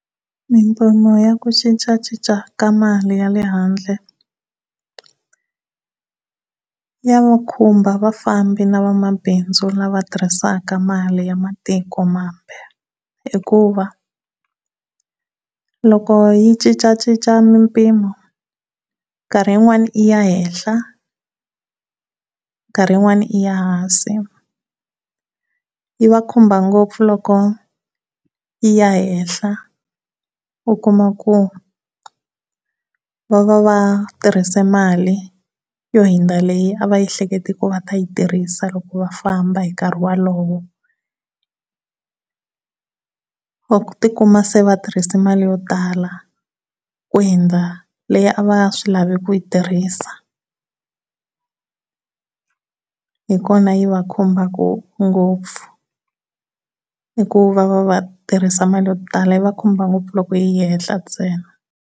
Mimpfuno ya ku cincacinca ka mali ya le handle ya khumba vafambi na vamabindzu lava tirhisaka mali ya matiko mambe hikuva loko yi cincacinca mimpimo nkarhi yin'wana i ya henhla, nkarhi yin'wana i ya hansi yi va khumba ngopfu loko yi ya henhla u kuma ku va va va tirhise mali yo hundza leyi a va ehlekete ku va ta yi tirhisa loko va famba hi nkarhi walowo. Va ti kuma se va tirrhise mali yo tala ku hundza leyi a va swi lave ku yi tirhisa. Hi kona yi va khumbaka ngopfu hi ku va va va tirhisa mali yo tala yi va khumba ngopfu loko yi ya ehenhla ntsena.